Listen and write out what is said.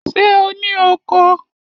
Ṣé o ní oko?